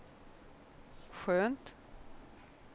skönt